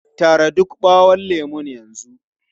Tara duka ɓawon lemun yanzu!